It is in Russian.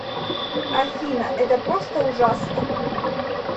афина это просто ужасно